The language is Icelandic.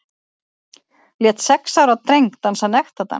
Lét sex ára dreng dansa nektardans